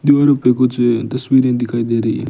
दूर पे कुछ तस्वीरें दिखाई दे रही हैं।